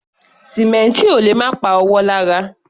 Sìmẹ́ǹtì ò lè má pa ọwọ́ lára.